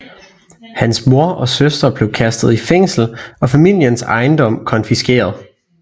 Hans mor og søster bliver kastet i fængsel og familiens ejendom konfiskeret